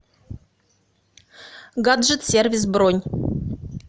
гаджет сервис бронь